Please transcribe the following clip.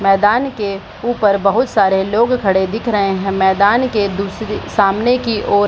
मैदान के ऊपर बहुत सारे लोग खड़े दिख रहे हैं मैदान के दूस सामने की ओर --